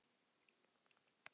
Þetta er hluti af lífinu.